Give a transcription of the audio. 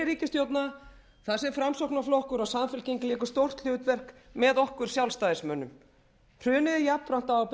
ríkisstjórna þar sem framsóknarflokkur og samfylking léku stórt hlutverk með okkur sjálfstæðismönnum hrunið er jafnframt á ábyrgð